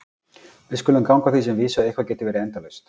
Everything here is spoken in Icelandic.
Við skulum ganga að því sem vísu að eitthvað geti verið endalaust.